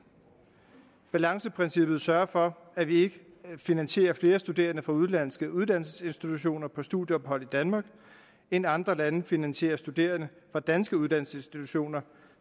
balanceprincippet sørger for at vi ikke finansierer flere studerende fra udenlandske uddannelsesinstitutioner på studieophold i danmark end andre lande finansierer studerende fra danske uddannelsesinstitutioner